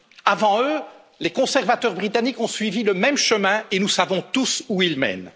Avant eux, les conservateurs britanniques ont emprunté ce chemin, et nous savons tous où il mène.